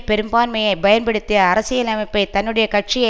பெரும்பான்மையை பயன்படுத்தி அரசியலமைப்பை தன்னுடைய கட்சியை